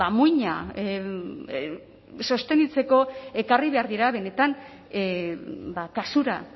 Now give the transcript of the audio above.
muina sostenitzeko ekarri behar dira benetan kasura